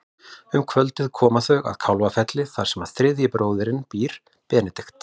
Um kvöldið koma þau að Kálfafelli þar sem þriðji bróðirinn býr, Benedikt.